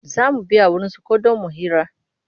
Za mu biya wurinsa ko don mu hira.